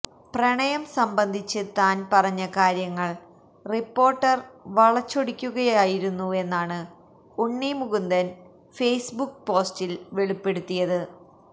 പ്രണയം സംബന്ധിച്ച് താൻ പറഞ്ഞ കാര്യങ്ങൾ റിപ്പോര്ട്ടര് വളച്ചൊടിക്കുകയായിരുന്നുവെന്നാണ് ഉണ്ണി മുകുന്ദൻ ഫേസ്ബുക്ക് പോസ്റ്റിൽ വെളിപ്പെടുത്തിയത്